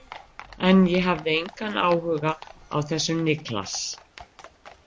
En ég hafði engan áhuga á þessum Niklas.